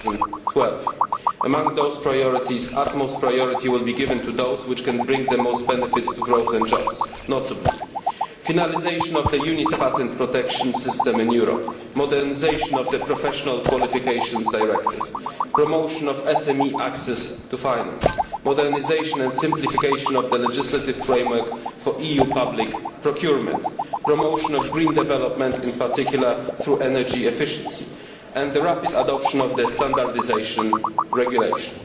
2012. Among those priorities, utmost priority will be given to those which can bring the most benefits for growth and jobs, notably, finalisation of the unitary patent protection system in Europe, modernisation of the Professional Qualifications Directive, promotion of SME access to finance, modernisation and simplification of the legislative framework for EU public procurement, promotion of green development in particular through energy efficiency, and the rapid adoption of the standardisation regulation.